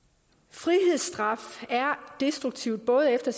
frihedsstraf er destruktivt både efter